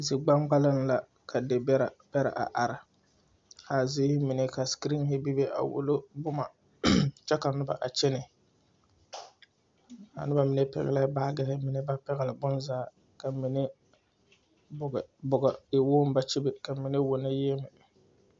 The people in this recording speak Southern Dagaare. Zikpaŋkpalleŋ la, ka de bɛrɛ bɛrɛ a are, ka a ziiri mine ka 'screen' bebe a wulo boma, kyɛ ka noba a kyɛnɛ, a noba mine pɛgle la baagri, naŋ ba pɛgle bonzaa, ka mine bo bonne e wogi ba kyebe , ka mine wono yiemɛ.